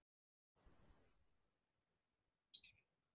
Breytist mikið með þinni komu í formannsstólinn?